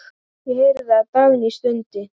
Ég heyrði að Dagný stundi.